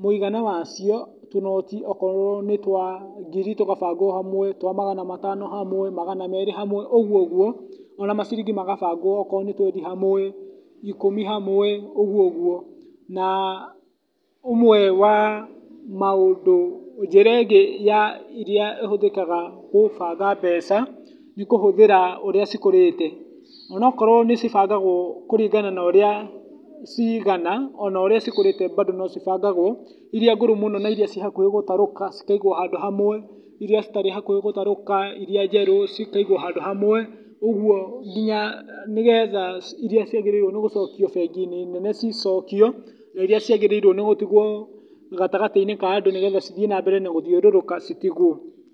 mũigana wacio, tũnoti akorwo nĩ twa ngiri tũgabangwo hamwe twa magana matano hamwe, magana merĩ hamwe, ũguo, ũguo, ona maciringi magabanwo akorwo nĩ twendi hamwe, ikũmi hamwe, ũguo ũguo. Na ũmwe wa maũndũ, njĩra ĩngĩ ya iria, ĩhũthĩkahga kũbanga mbeca nĩ kũhũthĩra ũrĩa cikũrĩte. Ona akorwo nĩ cibangagwo kũringana na ũrĩa ciigana, ona ũrĩa cikũrĩte bado no cibangagwo, irĩa ngũrũ mũno na irĩa ci hakuhĩ gũtarũka cikaigwo handũ hamwe, irĩa citarĩ hakũhĩ gũtarũka, irĩa njerũ cikaigwo handũ hamwe , ũguo nginya nĩ getha iria ciagĩrĩirwo gũcokio bengi-inĩ nene cicokio na iria ciagĩrĩirwo gũtigwo gatagatĩ-inĩ ka andĩ nĩgetha cithiĩ na mbeere na gũthiũrũrũka citigwo.